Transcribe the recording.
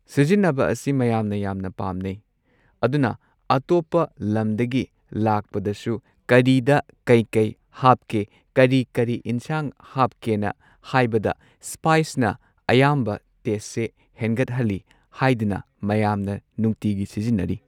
ꯁꯤꯖꯤꯟꯅꯕ ꯑꯁꯤ ꯃꯌꯥꯝꯅ ꯌꯥꯝꯅ ꯄꯥꯝꯅꯩ ꯑꯗꯨꯅ ꯑꯇꯣꯞꯄ ꯂꯝꯗꯒꯤ ꯂꯥꯛꯄꯗꯁꯨ ꯀꯔꯤꯗ ꯀꯩ ꯀꯩ ꯍꯥꯞꯀꯦ ꯀꯔꯤ ꯀꯔꯤ ꯢꯟꯁꯥꯡ ꯍꯥꯞꯀꯦꯅ ꯍꯥꯏꯕꯗ ꯁ꯭ꯄꯥꯏꯁꯅ ꯑꯍꯥ ꯑꯌꯥꯝꯕ ꯇꯦꯁꯁꯦ ꯍꯦꯟꯒꯠꯍꯜꯂꯤ ꯍꯥꯏꯗꯨꯅ ꯃꯌꯥꯝꯅ ꯅꯨꯡꯇꯤꯒꯤ ꯁꯤꯖꯤꯟꯅꯔꯤ꯫